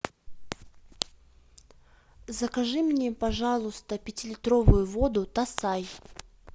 закажи мне пожалуйста пятилитровую воду тассай